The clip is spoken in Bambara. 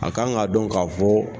A kan k'a dɔn k'a fɔ.